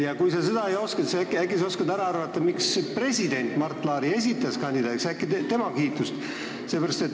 Ja kui sa seda ei oska, siis oskad ehk arvata, miks president Mart Laari kandidaadiks esitas – äkki tema kiidab Laari?